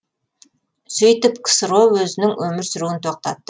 сөйтіп ксро өзінің өмір сүруін тоқтатты